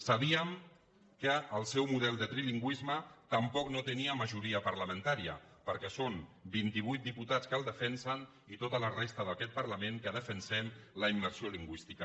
sabíem que el seu model de trilingüisme tampoc no tenia majoria parlamentària perquè són vint i vuit diputats que el defensen i tota la resta d’aquest parlament que defensem la immersió lingüística